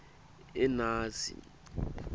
enasi